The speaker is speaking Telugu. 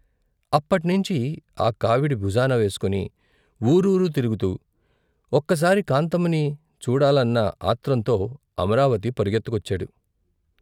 అప్పట్నించి ఆ కావిడి భుజాన వేసుకొని వూరూరు తిరుగుతూ ఒక్కసారి కాంతమ్మని చూడాలన్న ఆత్రంతో అనురాపతి పరుగెత్తుకొచ్చాడు.